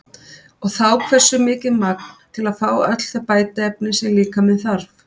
Og þá hversu mikið magn til að fá öll þau bætiefni sem líkaminn þarf?